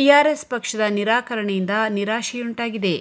TRS ಪಕ್ಷದ ನಿರಾಕರಣೆಯಿಂದ ನಿರಾಶೆಯುಂಟಾಗಿದೆ